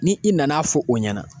Ni i nana fɔ o ɲɛna